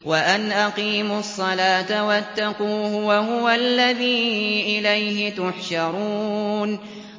وَأَنْ أَقِيمُوا الصَّلَاةَ وَاتَّقُوهُ ۚ وَهُوَ الَّذِي إِلَيْهِ تُحْشَرُونَ